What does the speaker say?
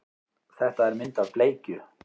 Þetta er mynd af bleikju.